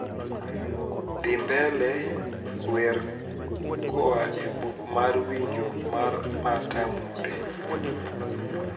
dhi mbele wer koa e buk mar winjo mar marta munde